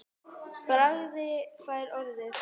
Bragi fær orðið